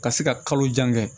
Ka se ka kalo jan kɛ